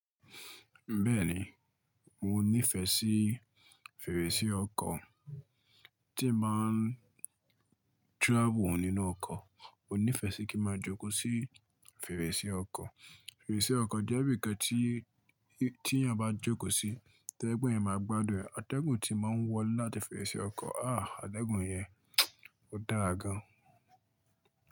Bẹ́ẹ̀ni, mo nífẹ̀ẹ́ sí fèrèsé ọkọ̀. Tí mo máa ń travel nínú ọkọ̀, mo nífẹ̀ẹ́ sí kí máa jókòó sí fèrèsé ọkọ̀. Fèrèsé ọkọ̀ jẹ́ ibìkan tí, tí ènìyàn bá jókòó sí atẹ́gùn yẹn máa gbádùn. Atẹ́gùn tí máa ń wọ́ láti fèrèsé ọkọ̀, ah! Atẹ́gùn yẹn ó dára gan.